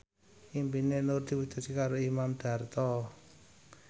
impine Nur diwujudke karo Imam Darto